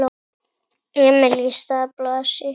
Emil í stað Blasi?